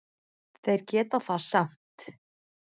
Þeir geta það samt.